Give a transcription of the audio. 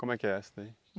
Como é que é essa daí?